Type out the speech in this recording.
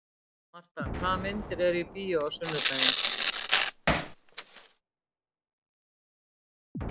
Marta, hvaða myndir eru í bíó á sunnudaginn?